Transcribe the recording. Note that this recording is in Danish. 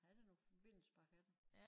Havde da noget forbindelse bare have det